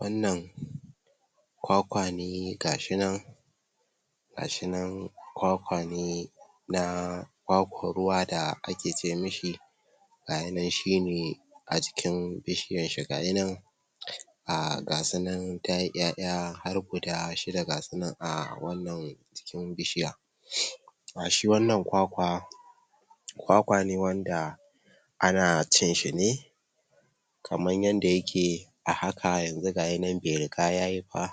Wannan Kwakwa ne gashi nan gashi nan Kwakwa ne na Kwakwar ruwa da ake ce mishi gayi nan shine a jikin bishiyar shi gayi nan ga sunan tayi 'ya'ya har guda shida gasu nan a wannan jikin bishiya a shi wannan Kwakwa Kwakwa ne wanda ana cin shi ne kamar yadda yake a haka, yanzu gayinan bai riga yayi ba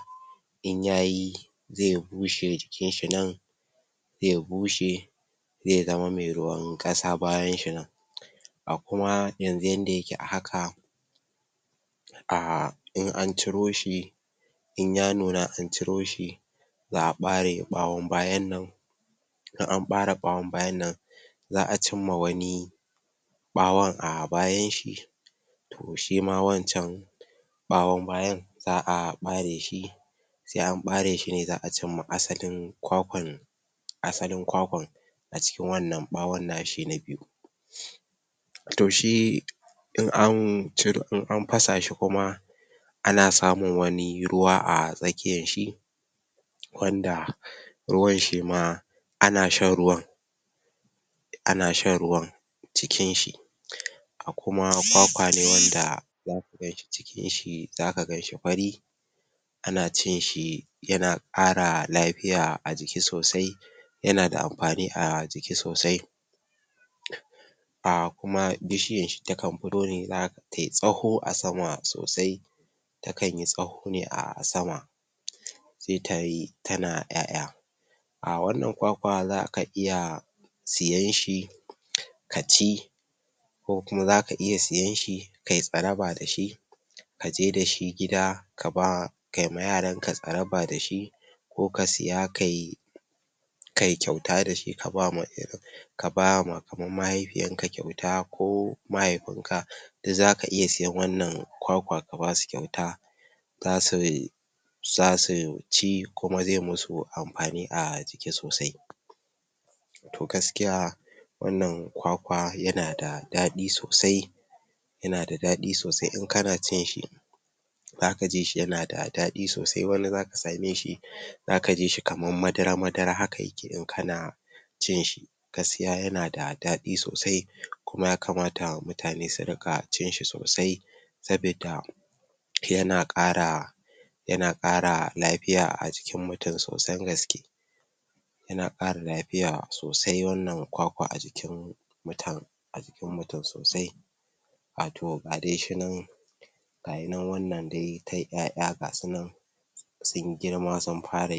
in yayi zai bushe jikin nan zai bushe zai zama mai ruwan ƙasa bayan shi nan a kuma yanzu yadda yake a haka a, in an ciro shi in ya nuna an ciro shi za'a ɓare ɓawon bayan nan in an ɓare ɓawan bayan nan za'a cimma wani ɓawan a bayan shi to shima wancan ɓawan bayan za'a ɓare shi za'a ɓare shi, sai an ɓare shine za'a cimma asalin Kwakwan asalin Kwakwan a cikin wannan ɓawon nashi na biyu to shi in an ciro[um] in an fasa shi kuma ana samun wani ruwa a tsakiyar shi wanda ruwan shima ana shan ruwan na shan ruwan cikin shi a kuma kwakwale wanda zaka ganshi cikin shi, zaka ganshi fari ana cin shi yana ƙara lafiya a jiki sosai yana da amfani a jiki sosai a, kuma bishiyar shi takan fito ne zaka ga tayi tsawo a sama sosai takan yi tsawo ne a sama sai tayi tana 'ya'ya a, wannan Kwakwa zaka iya siyan shi kaci ko kuma zaka iya siyan shi kayi tsaraba dashi kaje dashi gida kaba kai ma yaranka tsaraba dashi ko ka siya kai kai kyauta dashi kaba ma um ka bama kamar mahaifiyarka kyauta ko mahaifin ka duk zaka iya siyan wannan Kwakwa ka basu kyauta zasu zasu ci kuma zai musu amfani a jiki sosai to gaskiya wannan Kwakwa yana da daɗi sosai yana da daɗi sosai in kama cin shi zaka ji shi yana da daɓi sosai wani zaka same shi zaka ji kamar madar madar haka yake idan kana cin shi gaskiya yana da daɗi sosai kuma yakamta mutane su riƙa cin shi sosai sabidda yana ƙara yana ƙara tafiya a jin mutum sosan gaske yana ƙara lafiya sosai wannan Kwakwa a jikin mutan a jikin mutum sosai wato ga dai shi nan gayi nan wannan dai tayi 'ya'ya gasu nan sun girma sun fara yi